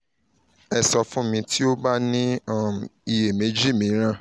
ẹ sọ fun mi ti o ba ni um iyemeji miiran